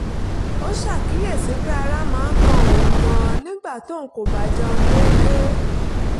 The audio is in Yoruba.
ó ṣàkíyèsí pé ara máa ń kan òun gan-an nígbà tóun kò bá jẹun deede